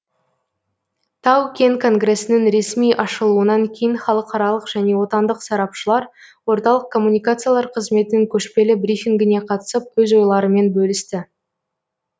тау кен конгресінің ресми ашылуынан кейін халықаралық және отандық сарапшылар орталық коммуникациялар қызметінің көшпелі брифингіне қатысып өз ойларымен бөлісті